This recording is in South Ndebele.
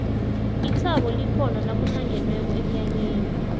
ithabo likhona nakuhlangenweko emnyanyeni